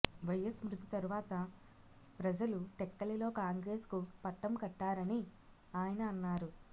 YS మృతి తర్వాత ప్రజలు టెక్కలిలో కాంగ్రెసుకు పట్టం కట్టారని ఆయన అన్నారు